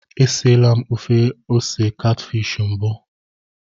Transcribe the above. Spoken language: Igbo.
E siela m ofe ose katfishi mbụ.